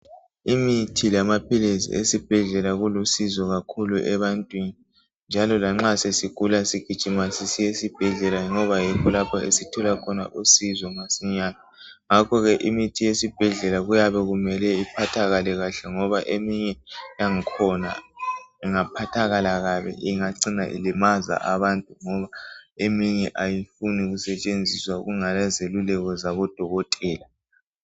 imithi lamaphilisi esibhedlela kulusizo kakhulu ebantwini njalo lanxa sesigula sigijima sisiya esibhedlela ngoba yikho lapho esithola khona usizo masinyane ngakho ke imithi yesibhedlela kuyabe kumele iphathakale kahle eminye yangkhona ingaphathakala kabi ingacina ilimaza abantu ngoba eminye ayifuni kusetshenziswa kungala zeluleko zabo dokotela